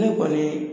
Ne kɔni